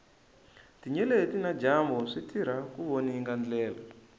tinyeleti na dyambu switirha ku voninga ndlela